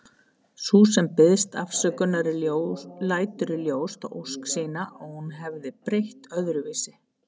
Sú sem biðst afsökunar lætur í ljós þá ósk sína að hún hefði breytt öðruvísi.